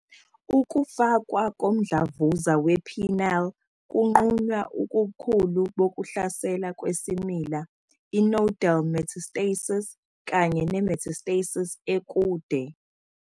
Ukufakwa komdlavuza we-penile kunqunywa ubukhulu bokuhlasela kwesimila, i-nodal metastasis, kanye ne-metastasis ekude.